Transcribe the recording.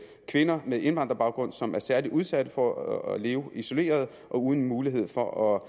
kvinder med indvandrerbaggrund som er særlig udsat for at leve isoleret og uden mulighed for